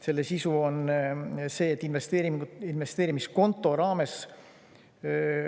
Selle sisu on see, et investeerimiskonto raames …